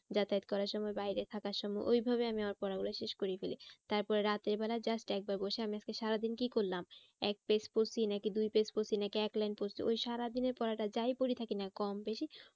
যাতায়াত করার সময় বাইরে থাকার সময় ওইভাবে আমি আমার পড়া গুলো শেষ করে ফেলি। তারপরে রাতের বেলায় just একবার বসে আমি আজকে সারাদিন কি করলাম এক page পড়ছি নাকি দুই page পড়ছি নাকি এক line পড়ছি? ওই সারাদিনের পড়াটা যাই পড়ে থাকি না কম বেশি